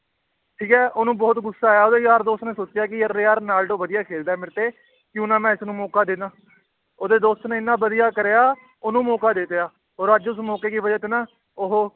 ਠੀਕ ਹੈ ਉਹਨੂੰ ਬਹੁਤ ਗੁੱਸਾ ਆਇਆ ਉਹਦੇ ਯਾਰ ਦੋਸਤ ਨੇ ਸੋਚਿਆ ਕਿ ਰੋਨਾਲਡੋ ਵਧੀਆ ਖੇਲਦਾ ਮੇਰੇ ਤੇ ਕਿਉਂ ਨਾ ਮੈਂ ਇਸਨੂੰ ਮੌਕਾ ਦੇ ਦੇਵਾਂ ਉਹਦੇ ਦੋਸਤ ਨੇ ਇੰਨਾ ਵਧੀਆ ਕਰਿਆ, ਉਹਨੂੰ ਮੌਕਾ ਦੇ ਦਿੱਤਾ, ਔਰ ਅੱਜ ਉਸ ਮੌਕੇ ਕੀ ਵਜਾ ਤੇ ਨਾ ਉਹ